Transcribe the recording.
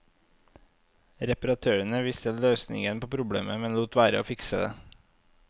Repratørene visste løsningen på problemet, men lot være å fikse det.